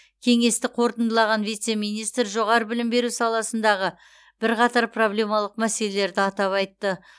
кеңесті қорытындылаған вице министр жоғары білім беру саласындағы бірқатар проблемалық мәселелерді атап айтты